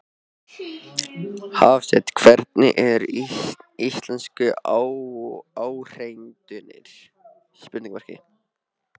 Hafsteinn: Hvernig eru íslensku áheyrendurnir?